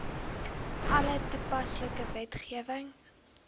alle toepaslike wetgewing